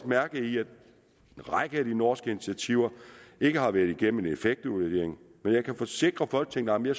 mærke i at en række af de norske initiativer ikke har været igennem en effektevaluering jeg kan forsikre folketinget om at